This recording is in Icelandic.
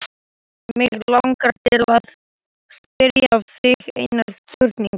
Mig langar til að spyrja þig einnar spurningar.